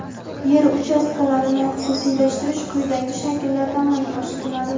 yer uchastkalarini xususiylashtirish quyidagi shakllarda amalga oshiriladi:.